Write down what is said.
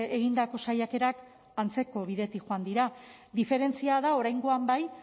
egindako saiakerak antzeko bidetik joan dira diferentzia da oraingoan bai